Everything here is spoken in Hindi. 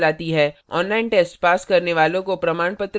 online test pass करने वालों को प्रमाणपत्र भी देते हैं